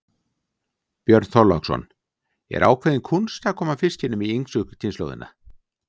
Björn Þorláksson: Er ákveðin kúnst að koma fiskinum í yngstu kynslóðina?